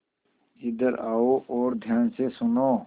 इधर आओ और ध्यान से सुनो